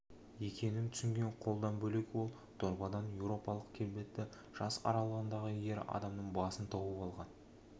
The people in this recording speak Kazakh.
екенін түсінген қолдан бөлек ол дорбадан еуропалық келбетті жас аралығындағы ер адамның басын тауып алған